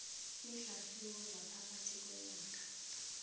iinhlahlubo zaphakathi konyaka